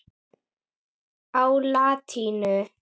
á latínu.